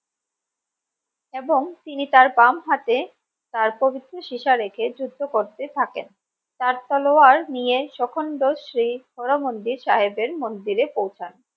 এবং তিনি তার বাম হাতে তার পবিত্র সীসা রেখে যুদ্ধ করতে থাকেন তার তলোয়ার নিয়ে সখন্ড শ্রী হরমন্দির সাহেবের মন্দিরে পৌঁছান